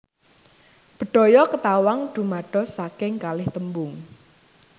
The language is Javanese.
Bedhaya Ketawang dumados saking kalih tembung